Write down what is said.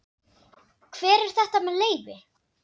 Hver er þetta með leyfi?